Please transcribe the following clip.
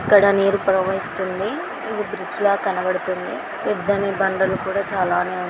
ఇక్కడ నీరు ప్రవహిస్తుంది. ఇది బ్రిడ్జ్ లా కనబడుతుంది. పెద్దనే బండలు కూడా చాలానే ఉన్నాయి.